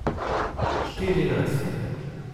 Štirinajst.